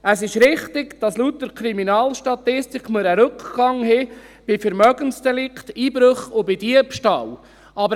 Es ist richtig, dass wir laut Kriminalstatistik einen Rückgang bei Vermögensdelikten, Einbrüchen und Diebstahl haben.